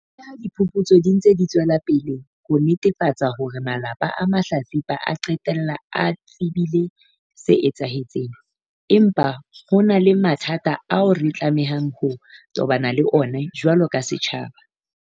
Leha diphuputso di ntse di tswela pele ho netefatsa hore malapa a mahlatsipa a qetella a tsebile se etsahetseng, empa ho na le mathata ao re tlamehang ho tobana le ona jwalo ka setjhaba.